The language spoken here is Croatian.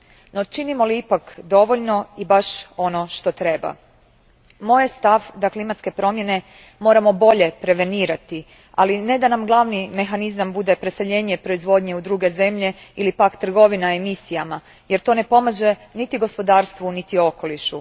No, činimo li ipak dovoljno i baš ono što treba? Moj je stav da klimatske promjene moramo bolje prevenirati, ali ne da nam glavni mehanizam bude preseljenje proizvodnje u druge zemlje ili pak trgovina emisijama, jer to ne pomaže niti gospodarstvu niti okolišu.